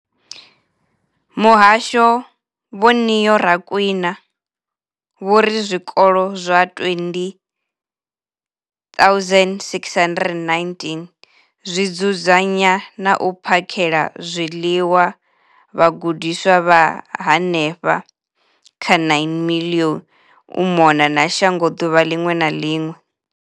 Muhasho, Vho Neo Rakwena, vho ri zwikolo zwa 20 619 zwi dzudzanya na u phakhela zwiḽiwa vhagudiswa vha henefha kha 9 milioni u mona na shango ḓuvha ḽiṅwe na ḽiṅwe.